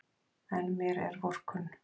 En mér er vorkunn.